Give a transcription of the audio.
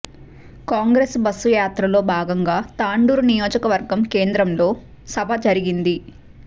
Congress bus యాత్రలో భాగంగా తాండూరు నియోజకవర్గ కేంద్రంలో సభ జరిగింది